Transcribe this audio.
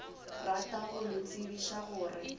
rata go le tsebiša gore